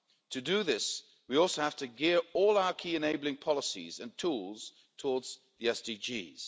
To do this, we also have to gear all our key enabling policies and tools towards the SDGs.